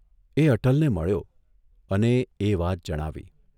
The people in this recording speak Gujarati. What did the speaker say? એ અટલને મળ્યો અને એ વાત જણાવી.